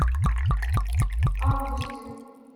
августин